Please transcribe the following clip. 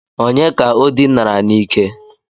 Ònye ka o dinara n'ike?